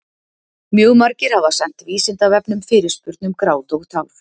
Mjög margir hafa sent Vísindavefnum fyrirspurn um grát og tár.